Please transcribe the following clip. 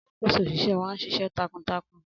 Alakoso oṣiṣẹ wa n ṣiṣẹ takuntakun